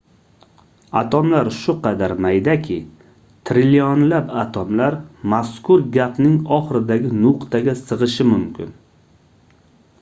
atomlar shu qadar maydaki trillionlab atomlar mazkur gapning oxiridagi nuqtaga sigʻishi mumkin